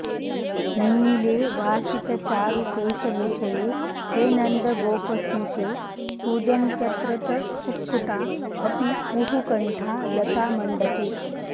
नीले वासितचारुकेशनिचये हे नन्दगोपस्नुषे कूजन्त्यत्र च कुक्कुटा अपि कुहूकण्ठा लतामण्टपे